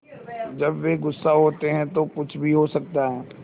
जब वे गुस्सा होते हैं तो कुछ भी हो सकता है